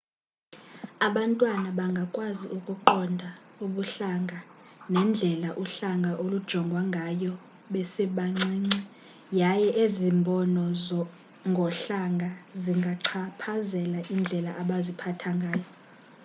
abantwana bangakwazi ukuqonda ubuhlanga nendlela uhlanga olujongwa ngayo besebancinci yaye ezi mbono ngohlanga zingachaphazela indlela abaziphatha ngayo